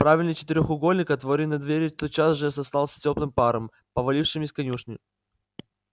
правильный четырёхугольник отворенной двери тотчас же застлался тёплым паром повалившим из конюшни